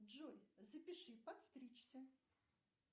джой запиши подстричься